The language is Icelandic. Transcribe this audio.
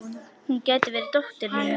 Hún gæti verið dóttir mín.